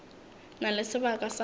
na le sebaka sa go